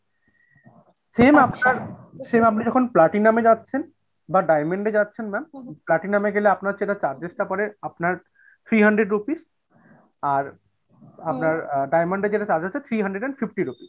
same আপনি যখন platinum এ যাচ্ছেন বা diamond এ যাচ্ছেন ma'am, platinum এ গেলে আপনার যে charges টা পরে আপনার three hundred rupees আর আপনার diamond গেলে charges আছে three hundred and fifty rupees।